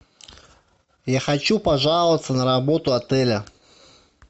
я хочу пожаловаться на работу отеля